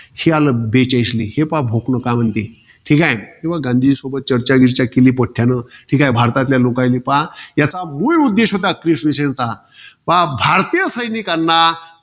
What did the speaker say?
हे आलं, बेचाळीसले. हे पहा बुकलो, काय म्हणते. ठीकाय. तेव्हा गांधीजी सोबत चर्चा बिर्चा केली पोट्ट्यान. ठीकाय. भारतातल्या लोकायले पहा, याचा मुल उद्देश होता क्रिस mission चा. पहा भारतीय सैनिकांना